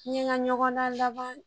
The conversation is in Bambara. N ye n ka ɲɔgɔndan laban